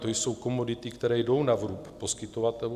To jsou komodity, které jdou na vrub poskytovatelů.